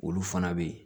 Olu fana bɛ yen